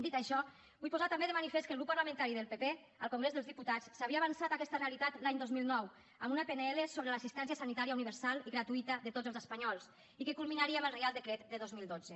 dit això vull posar també de manifest que el grup parlamentari del pp al congrés dels diputats s’havia avançat a aquesta realitat l’any dos mil nou amb una pnl sobre l’assistència sanitària universal i gratuïta de tots els espanyols i que culminaria amb el reial decret del dos mil dotze